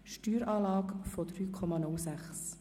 eine Steueranlage von 3,06.